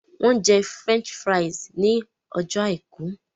Wọ́n jẹ French fries ní ọjọ́ àìkú